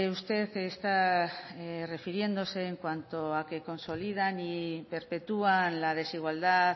usted está refiriéndose en cuanto a que consolidan y perpetúan la desigualdad